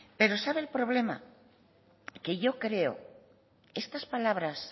pero sabe el problema que yo creo estas palabras